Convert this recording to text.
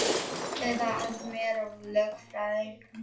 Já eða að fá mér lögfræðing.